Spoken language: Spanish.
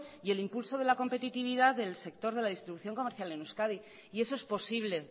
y el impulso de la competitividad del sector de la distribución comercial en euskadi y eso es posible